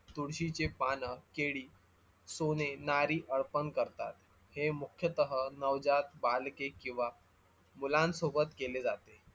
तुळशीचे पान, केडी, सोने, नारी अर्पन करतात हे मुख्यतः नवजात बालके किवा मुलांसोबत केले जाते